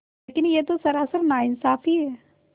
लेकिन यह तो सरासर नाइंसाफ़ी है